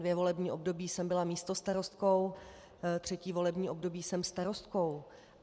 Dvě volební období jsem byla místostarostkou, třetí volební období jsem starostkou.